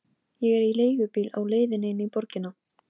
Bjólfur, hvað geturðu sagt mér um veðrið?